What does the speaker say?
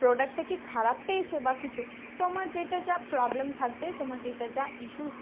product টা কি খারাপ পেয়েছো বা কিছু? তোমার যেটা যা problem থাকবে তোমার যেটা যা issue